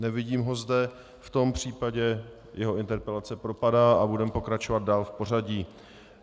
Nevidím ho zde, v tom případě jeho interpelace propadá a budeme pokračovat dál v pořadí.